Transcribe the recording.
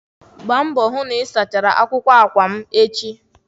Gbaa mbọ hụ na ị sachara bedsheeti m echi.